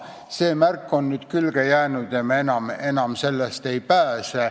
See märk on nüüd külge jäänud ja enam me sellest ei pääse.